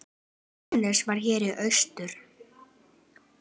Dennis var hér í austur.